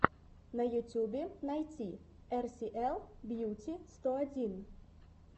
на ютюбе найти эр си эл бьюти сто один